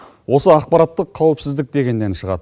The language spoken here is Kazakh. осы ақпараттық қауіпсіздік дегеннен шығады